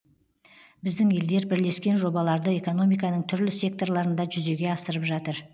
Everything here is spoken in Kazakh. біздің елдер бірлескен жобаларды экономиканың түрлі секторларында жүзеге асырып жатыр